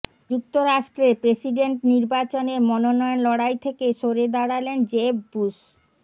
যুক্তরাষ্ট্রে প্রেসিডেন্ট নির্বাচনের মনোনয়ন লড়াই থেকে সরে দাঁড়ালেন জেব বুশ